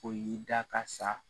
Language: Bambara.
O y'i da ka sa